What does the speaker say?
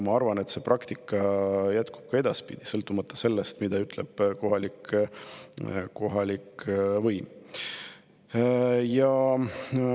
Ma arvan, et see praktika jätkub ka edaspidi, sõltumata sellest, mida ütleb kohalik võim.